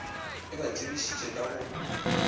e ba tsebišitše ka go